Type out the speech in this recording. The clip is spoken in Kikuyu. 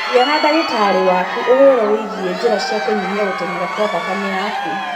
Aria na ndagĩtarĩ waku ũhoro wĩgiĩ njĩra cia kũnyihia gũteng'era kwa thakame yaku.